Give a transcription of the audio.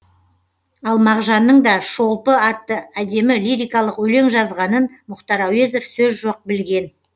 ал мағжанның да шолпы атты әдемі лирикалық өлең жазғанын мұхтар әуезов сөз жоқ білген